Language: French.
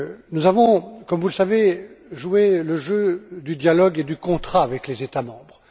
Nous avons, comme vous le savez, joué le jeu du dialogue et du contrat avec les États membres.